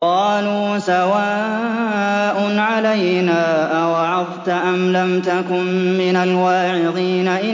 قَالُوا سَوَاءٌ عَلَيْنَا أَوَعَظْتَ أَمْ لَمْ تَكُن مِّنَ الْوَاعِظِينَ